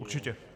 Určitě.